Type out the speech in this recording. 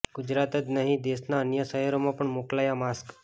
ગુજરાત જ નહીં દેશના અન્ય શહેરોમાં પણ મોકલાયા માસ્ક